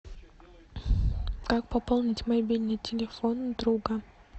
как пополнить мобильный телефон друга